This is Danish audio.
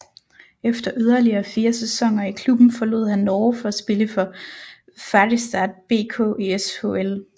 Efter yderligere fire sæsoner i klubben forlod han Norge for at spille for Färjestad BK i SHL